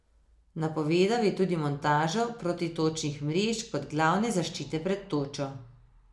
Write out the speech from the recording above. Napovedal je tudi montažo protitočnih mrež kot glavne zaščite pred točo.